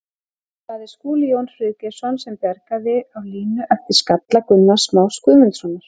Það er Skúli Jón Friðgeirsson sem bjargaði á línu eftir skalla Gunnars Más Guðmundssonar.